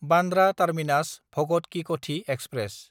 बान्द्रा टार्मिनास–भगत कि कथि एक्सप्रेस